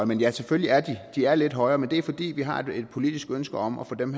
men ja selvfølgelig er de lidt højere men det er fordi vi har et politisk ønske om at få dem